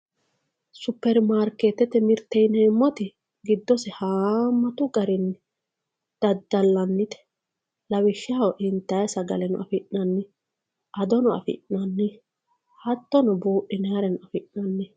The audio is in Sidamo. supermarikeetete mirte yineemoti giddose haamatu garinni daddallannite lawishshaho intayi sagaleno afi'nanni adono afi'nanni hatono buuxinayiireno afi'nanni.